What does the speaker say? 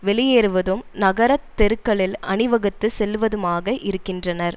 வெளியேறுவதும் நகர தெருக்களில் அணிவகுத்து செல்லுவதுமாக இருக்கின்றனர்